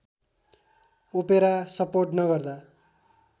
opera support नगर्दा